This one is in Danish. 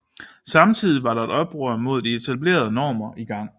Samtidig var der et oprør mod de etablerede normer i gang